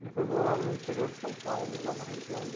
Ele foi morar no interior de São Paulo, lá na região de...